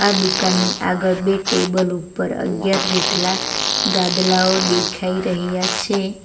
દુકાનની આગળ બે ટેબલ ઉપર અગ્યાર જેટલા ગાદલાઓ દેખાય રહ્યા છે.